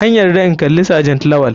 An yarda in kalla sergent lawal.